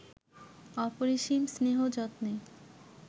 অপরিসীম স্নেহ যত্নে